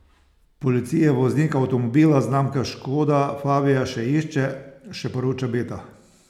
Policija voznika avtomobila znamke škoda fabia še išče, še poroča Beta.